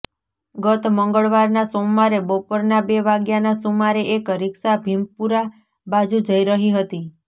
ગત મંગળવારના સોમવારે બપોરના બે વાગ્યાના સુમારે એક રિક્ષા ભીમપુરા બાજુ જઈ રહી હતી